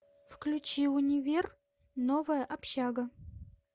включи универ новая общага